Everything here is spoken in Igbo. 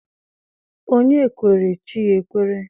Onye kwere, chi ya ekwere.